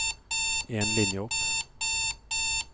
En linje opp